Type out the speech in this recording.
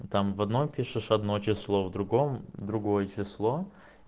там в одном пишешь одно число в другом другое число